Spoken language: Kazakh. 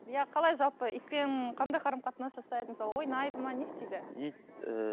иә қалай жалпы итпен қандай қарым қатынас жасайды мысалы ойнады ма не істейді ит ііі